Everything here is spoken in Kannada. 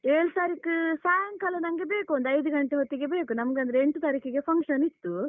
ಏಳ್ ತಾರೀಖ್ ಸಾಯಂಕಾಲ ನನ್ಗೆ ಬೇಕು, ಒಂದು ಐದು ಗಂಟೆ ಹೊತ್ತಿಗೆ ಬೇಕು ನಮ್ಗನ್ದ್ರೆ ಎಂಟು ತಾರೀಖಿಗೆ function ಇತ್ತು.